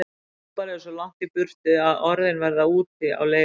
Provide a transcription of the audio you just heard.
Pabbar eru svo langt í burtu að orðin verða úti á leiðinni.